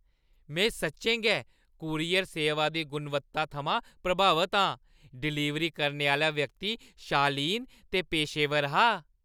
में सच्चें गै कूरियर सेवा दी गुणवत्ता थमां प्रभावत आं। डलीवरी करने आह्‌ला व्यक्ति शालीन ते पेशेवर हा।